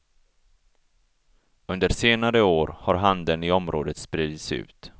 Under senare år har handeln i området spridits ut.